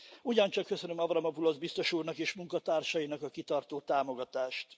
Ugyancsak köszönöm Avramopulosz biztos úrnak és munkatársainak a kitartó támogatást.